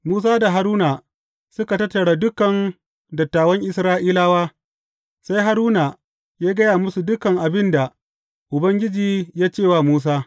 Musa da Haruna suka tattara dukan dattawan Isra’ilawa, sai Haruna ya gaya musu dukan abin da Ubangiji ya ce wa Musa.